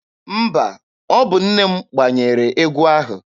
Mba, ọ bụ nne m gbanyere egwu ahụ.